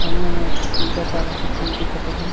सामने में एक ठी पीला काला के पूल दिखत हे।